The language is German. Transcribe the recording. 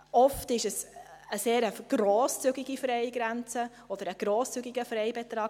Oft ist es eine grosszügige Freigrenze oder ein grosszügiger Freibetrag.